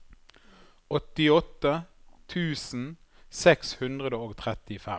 åttiåtte tusen seks hundre og trettifem